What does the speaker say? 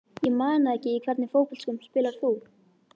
Ég man það ekki Í hvernig fótboltaskóm spilar þú?